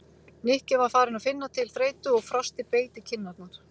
Nikki var farinn að finna til þreytu og frostið beit í kinn- arnar.